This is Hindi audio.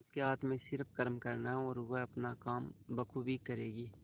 उसके हाथ में सिर्फ कर्म करना है और वह अपना काम बखूबी करेगी